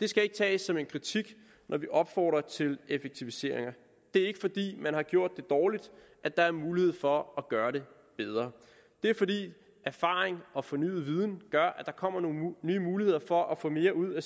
det skal ikke tages som en kritik når vi opfordrer til effektiviseringer det er ikke fordi man har gjort det dårligt at der er mulighed for at gøre det bedre det er fordi erfaring og fornyet viden gør at der kommer nogle nye muligheder for at få mere ud af